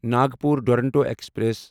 Nagpur Duronto express